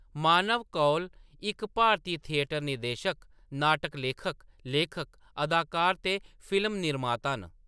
मानव कौल इक भारती थिएटर निर्देशक, नाटक लेखक, लेखक, अदाकार ते फिल्म निर्माता न।